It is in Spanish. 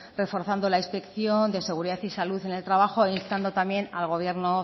reforzando la inspección de seguridad y salud en el trabajo e instando también al gobierno